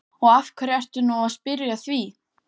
Og af hverju ertu nú að spyrja að því?